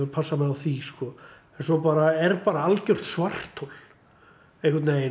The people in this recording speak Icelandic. passa mig á því en svo bara er algjört svarthol einhvern veginn